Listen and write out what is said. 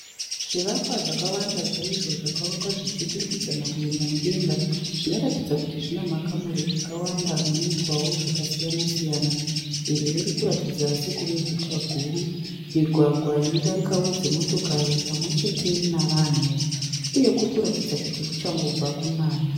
Zvivakwa zvakawanda chaizvo zvakavakwa zvichiturikidzana zvichienda mudenga zvinoratidza kuti zvine makamuri akawanda muneitwawo zvakasiyana siyana. Iri ririkuratidza sekuve guta guru. Migwagwa inodarikawo dzimotokari pamwechete nevanhu uye kurikuratidza sekuchangobva kunaya.